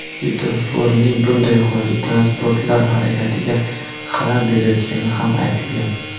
Svetoforning bunday holati transportlar harakatiga xalal berayotgani ham aytilgan.